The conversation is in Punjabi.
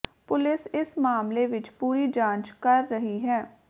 ਪੁਲਿਸ ਇਸ ਮਾਮਲੇ ਵਿੱਚ ਪੂਰੀ ਜਾਂਚ ਕਰ ਰਹੀ ਹੈ